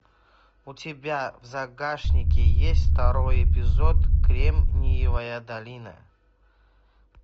у тебя в загашнике есть второй эпизод кремниевая долина